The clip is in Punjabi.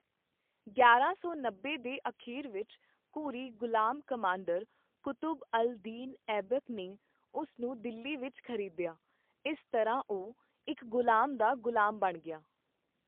ਗਿਆਰਾਂ ਸੌ ਨੱਬੇ ਦੇ ਅਖੀਰ ਵਿੱਚ, ਘੁਰੀ ਗੁਲਾਮ ਕਮਾਂਡਰ ਕੁਤੁਬ ਅਲ ਦੀਨ ਐਬਕ ਨੇ ਉਸ ਨੂੰ ਦਿੱਲੀ ਵਿੱਚ ਖ਼ਰੀਦਿਆ, ਇਸ ਤਰ੍ਹਾਂ ਉਹ ਇੱਕ ਗੁਲਾਮ ਦਾ ਗੁਲਾਮ ਬਣ ਗਿਆ।